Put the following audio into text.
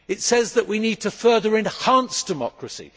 It says that we need to further enhance democracy.